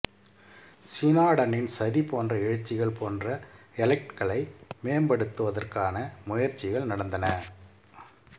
சினாடனின் சதி போன்ற எழுச்சிகள் போன்ற எலட்களை மேம்படுத்துவதற்கான முயற்சிகள் நடந்தன